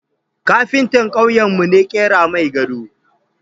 Kafinta kauyen mu ne ƙera mai gado